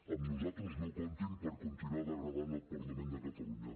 amb nosaltres no comptin per continuar degradant el parlament de catalunya